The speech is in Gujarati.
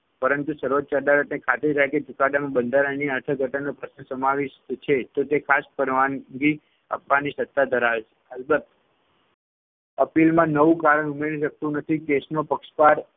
પરંતુ સર્વોચ્ય અદાલતને ખાતરી થાય કે ચુકાદામાં બંધારણીય અર્થઘટનનો પ્રશ્ન સમાવિષ્ઠ છે તો તે ખાસ પરવાનગી આપવાની સત્તા ધરાવે છે. અલબત્ત appeal માં નવું કારણ ઉમેરી શકતું નથી. case નો પક્ષકાર